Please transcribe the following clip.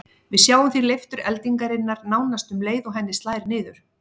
Við sjáum því leiftur eldingarinnar nánast um leið og henni slær niður.